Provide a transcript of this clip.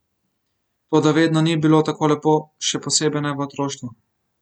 Toda vedno ni bilo tako lepo, še posebej ne v otroštvu.